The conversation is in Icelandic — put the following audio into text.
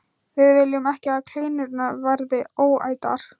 Við viljum ekki að kleinurnar verði óætar.